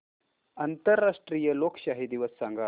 आंतरराष्ट्रीय लोकशाही दिवस सांगा